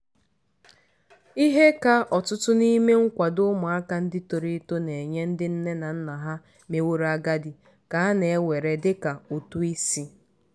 ihe ka ọtụtụ n'ime nkwado ụmụaka ndị toro eto na-enye ndị nne na nna ha meworo agadi ka a na-ewere dị ka ụtụ isi